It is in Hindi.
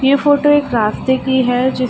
ये फोटो एक रास्ते की है जिस --